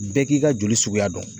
Bɛɛ k'i ka joli suguya dɔn.